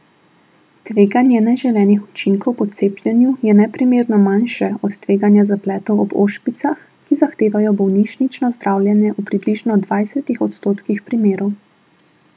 Tveganje neželenih učinkov po cepljenju je neprimerno manjše od tveganja zapletov ob ošpicah, ki zahtevajo bolnišnično zdravljenje v približno dvajsetih odstotkih primerov.